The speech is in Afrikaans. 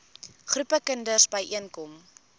groepe kinders byeenkom